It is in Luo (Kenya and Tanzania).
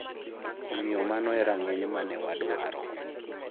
"""Omiyo mano e rang'iny ma ne wadwaro."